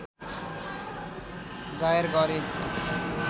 जाहेर गरे